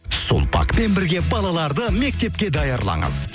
сулпакпен бірге балаларды мектепке даярлаңыз